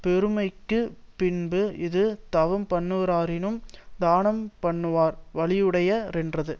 பெருமைக்குப் பின்பு இது தவம்பண்ணுவாரினும் தானம் பண்ணுவார் வலியுடைய ரென்றது